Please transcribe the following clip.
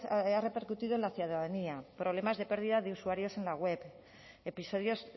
ha repercutido en la ciudadanía problemas de pérdida de usuarios en la web episodios